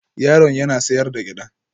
Yaron yana sayar da gyada